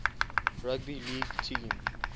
rugby league team